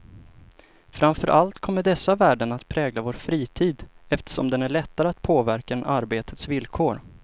Framför allt kommer dessa värden att prägla vår fritid, eftersom den är lättare att påverka än arbetets villkor.